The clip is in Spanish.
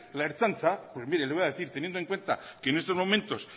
la ertzaintza pues mire le voy a decir teniendo en cuenta que en estos momentos